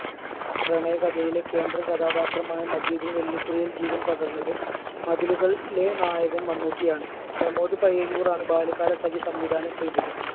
പ്രണയകഥയിലെ കേന്ദ്ര കഥാപാത്രമായ മജീദിന് വെള്ളിത്തിരയിൽ ജീവൻ പകർന്നത് മതിലുകളിലെ നായകൻ മമ്മൂട്ടിയാണ്. പ്രമോദ് പയ്യന്നൂരാണ് ബാല്യകാലസഖി സംവിധാനം ചെയ്തത്.